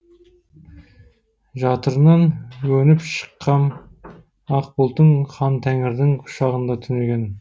жатырынан өніп шыққам ақ бұлттың хан тәңірдің құшағында түнеген